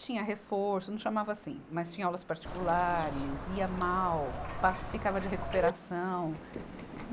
Tinha reforço, não chamava assim, mas tinha aulas particulares, ia mal, pá, ficava de recuperação.